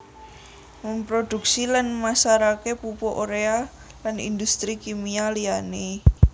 Memproduksi lan masarake pupuk urea lan industri kimia liyane